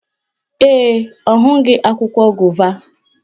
Ee, ọ hụghị akwụkwọ gova